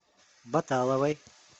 баталовой